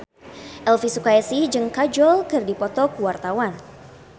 Elvy Sukaesih jeung Kajol keur dipoto ku wartawan